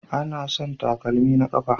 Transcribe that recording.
Anasan takalmi a kafa